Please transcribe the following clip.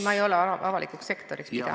Kas ...